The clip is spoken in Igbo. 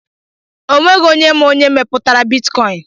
O nweghị onye ma onye mepụtara bitkọin